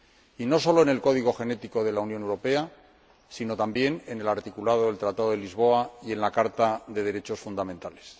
Y no solo en el código genético de la Unión Europea, sino también en el articulado del Tratado de Lisboa y en la Carta de los Derechos Fundamentales.